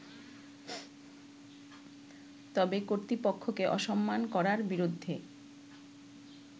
তবে কর্তৃপক্ষকে অসম্মান করার বিরু্দ্ধে